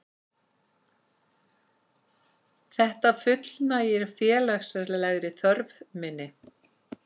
Þetta fullnægir félagslegri þörf minni.